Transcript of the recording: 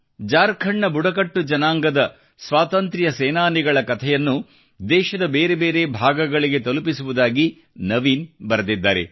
ಜಾರ್ಖಂಡ್ನ ಬುಡಕಟ್ಟು ಜನಾಂಗದ ಸ್ವಾತಂತ್ರ್ಯ ಸೇನಾನಿಗಳ ಕಥೆಯನ್ನು ದೇಶದ ಬೇರೆ ಬೇರೆ ಭಾಗಗಳಿಗೆ ತಲುಪಿಸುವುದಾಗಿ ನವೀನ್ ಬರೆದಿದ್ದಾರೆ